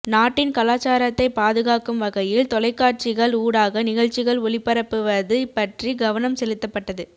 நாட்டின் கலாசாரத்தை பாதுகாக்கும் வகையில் தொலைக்காட்சிகள் ஊடாக நிகழ்ச்சிகள் ஒளிபரப்புவது பற்றி கவனம் செலுத்தப்பட்டது